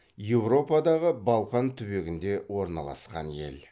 еуропадағы балқан түбегінде орналасқан ел